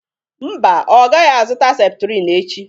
mba ọ gaghị azụta septrin echi